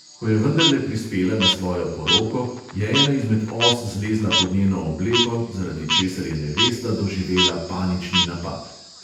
Ko je vendarle prispela na svojo poroko, je ena izmed os zlezla pod njeno obleko, zaradi česar je nevesta doživela panični napad.